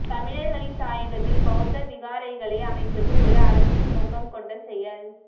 தமிழர்களின் தாயகத்தில் பௌத்த விகாரைகளை அமைப்பது ஒரு அரசியல் நோக்கம் கொண்ட செயல்